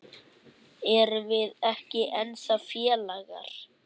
Erum við ekki ennþá félagar?